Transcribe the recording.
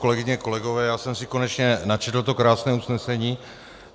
Kolegyně, kolegové, já jsem si konečně načetl to krásné usnesení.